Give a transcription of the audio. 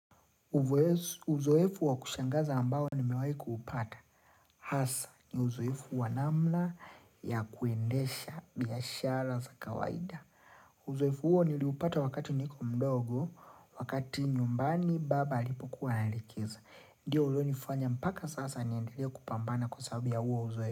Uzoefu wa kushangaza ambao ni mewahi kuupata. Hasa ni uzoefu wanamna ya kuendesha biashara za kawaida. Uzoefu huo niliupata wakati niko mdogo, wakati nyumbani baba alipo kuwa anaelekeza. Ndiyo ulio nifanya mpaka sasa niendelee kupambana kwa sababu ya huo uzoefu.